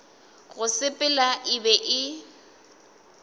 go sepela e be e